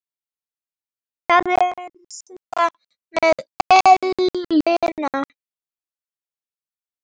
Það er þetta með ellina.